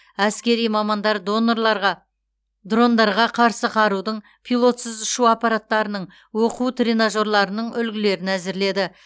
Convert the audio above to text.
әскери мамандар дрондарға қарсы қарудың пилотсыз ұшу аппараттарының оқу тренажерларының үлгілерін әзірледі